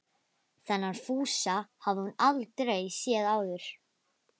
Þennan Fúsa hafði hún aldrei séð áður.